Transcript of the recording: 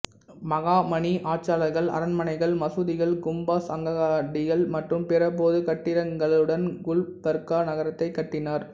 பஹாமனி ஆட்சியாளர்கள் அரண்மனைகள் மசூதிகள் கும்பாஸ் அங்காடிகள் மற்றும் பிற பொது கட்டிடங்களுடன் குல்பர்கா நகரத்தை கட்டினர்